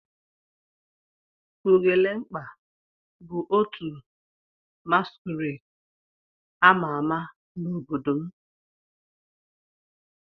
Ugelemkpa bu otu masquerade ama ama n'obodo m.